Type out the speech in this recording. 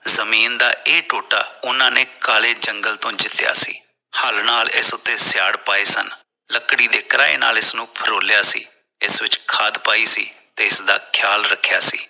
ਜ਼ਮੀਨ ਦਾ ਇਹ ਟੋਟਾ ਉਹਨਾਂ ਨੇ ਕਾਲੇ ਜੰਗਲ ਤੋਂ ਜੀਤਿਆ ਸੀ ਹਲ ਨਾਲ ਇਸ ਉੱਤੇ ਸਿਆਲ ਪਾਏ ਸਨ ਲੱਕੜੀ ਦੀ ਤ੍ਰਾਹ ਨਾਲ ਇਸ ਫਰੋਲਿਆ ਸੀ ਇਸ ਵਿਚ ਖਾਦ ਪਾਈ ਸੀ ਤੇ ਇਸ ਦਾ ਖ਼ਿਆਲ ਰੱਖਿਆ ਸੀ